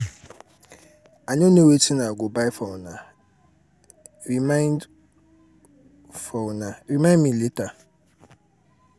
i no know wetin i go buy for una. remind for una. remind me later.